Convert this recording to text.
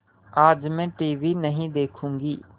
आज मैं टीवी नहीं देखूँगी